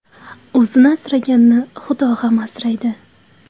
O‘zini asraganni Xudo ham asraydi.